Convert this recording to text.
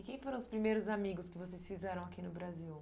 quem foram os primeiros amigos que vocês fizeram aqui no Brasil?